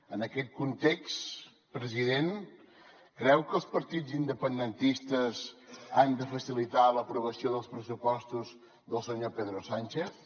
en aquest context president creu que els partits independentistes han de facilitar l’aprovació dels pressupostos del senyor pedro sánchez